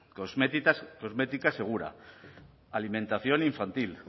cosmética segura alimentación infantil